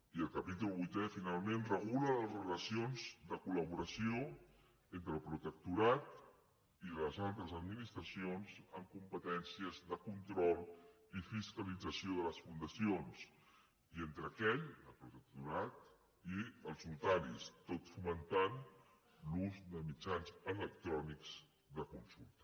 i el capítol vuitè finalment regula les relacions de col·laboració entre el protectorat i les altres administracions amb competències de control i fiscalització de les fundacions i entre aquell el protectorat i els notaris tot fomentant l’ús de mitjans electrònics de consulta